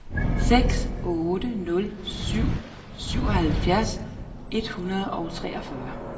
seks otte nul syv syvoghalvfjerds et hundrede og treogfyrre